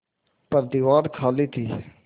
पर दीवार खाली थी